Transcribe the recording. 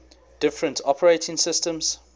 different operating systems